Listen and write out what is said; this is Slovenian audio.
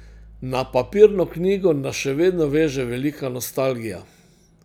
Na papirno knjigo nas še vedno veže velika nostalgija.